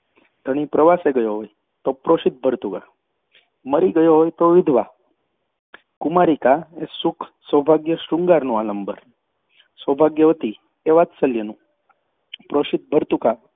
ધણી પ્રવાસે ગયો હોય તો પ્રોષિતભર્તૃકા, મરી ગયો હોય તો વિધવા કુમારિકા એ સુખ સૌભાગ્યશૃંગારનું આલંબન, સૌભાગ્યવતી વાત્સલ્યનું, પ્રોષિતભર્તૃકા